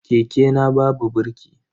Keke na babu birki.